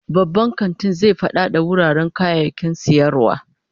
Babban kantin zai fadada wuraren kayayyakin sayarwa